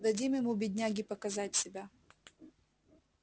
дадим ему бедняге показать себя